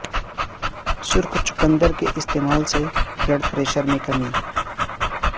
سرخ چقندر کے استعمال سے بلڈ پریشر میں کمی